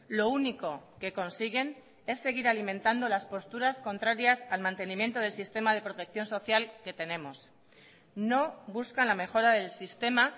lo único que consiguen es seguir alimentando las posturas contrarias al mantenimiento del sistema de protección social que tenemos no buscan la mejora del sistema